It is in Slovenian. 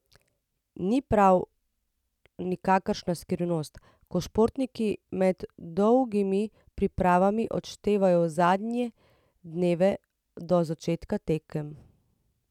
Ni prav nikakršna skrivnost, ko športniki med dolgimi pripravami odštevajo zadnje dneve do začetka tekem.